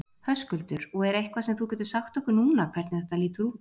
Höskuldur: Og er eitthvað sem þú getur sagt okkur núna hvernig þetta lítur út?